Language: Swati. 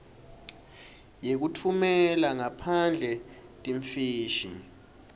yekutfumela ngaphandle timfishi